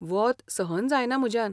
वोत सहन जायना म्हज्यान.